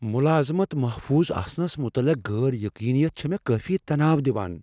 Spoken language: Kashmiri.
مٗلٲذِمت محفوُض آسنس مٗتعلق غیر یقینِیت چھِ مے٘ كٲفی تناو دِوان ۔